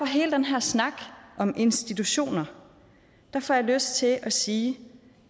hele den her snak om institutioner lyst til at sige at